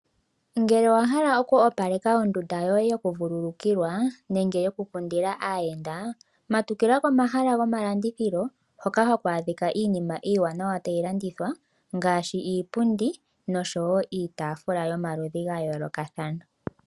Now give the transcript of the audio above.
Ngele owa hala oku opaleka ondunda yoye yokuvulukilwa nenge yokukundila aayenda, matukila komahala gomalandithilo hoka haku adhika iinima iiwanawa tayi landithwa ngaashi uupundi noshowo iitafula yomaludhi ga yoolokathana.